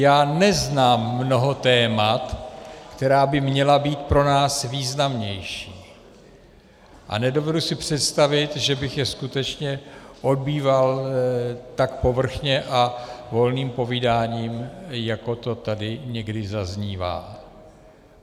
Já neznám mnoho témat, která by měla být pro nás významnější, a nedovedu si představit, že bych je skutečně odbýval tak povrchně a volným povídáním, jako to tady někdy zaznívá.